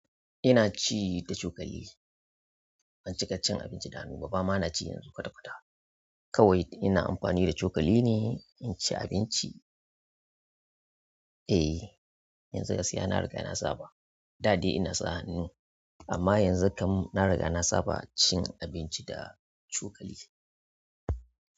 Ina ci da cokali. Ban cika cin abinci da hannu ba, bama na ci yanzu kwata-kwata. Kawai ina amfani da cokali ne in ci abinci. Eh, yanzu gaskiya na riga na saba. Da dai ina sa hannu, amma yanzu kam na riga na saba cin abinci da cokali.